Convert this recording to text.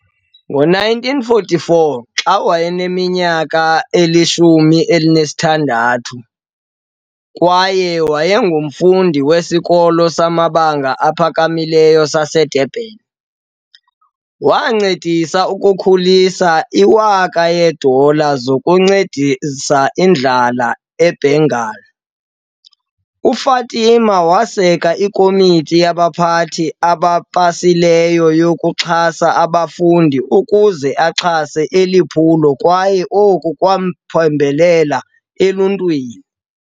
Ngo-1944, xa wayeneminyaka eyi-16 kwaye wayengumfundi weSikolo samaBanga aPhakamileyo saseDurban, wancedisa ukukhulisa i-1000 yeedola zokunceda indlala e-Bengal. UFatima waseka iKomiti yabaPhathi abaPhasileyo yokuXhasa abafundi ukuze axhase eli phulo kwaye oku kwamphembelela eluntwini.